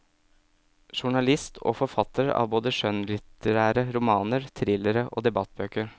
Journalist og forfatter av både skjønnlitterære romaner, thrillere og debattbøker.